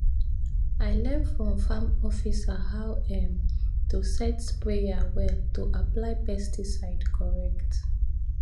i learn from farm officer how um to set sprayer well to apply pesticide correct